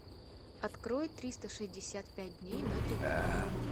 открой триста шестьдесят пять дней на тв